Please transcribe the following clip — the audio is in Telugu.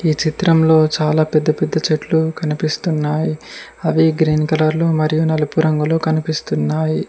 ఈ చిత్రంలో చాలా పెద్ద పెద్ద చెట్లు కనిపిస్తున్నాయి అవి గ్రీన్ కలర్ లో మరియు నలుపు రంగులో కనిపిస్తున్నాయి.